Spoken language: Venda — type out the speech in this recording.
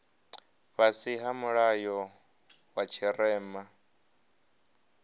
fhasi ha mulayo wa tshirema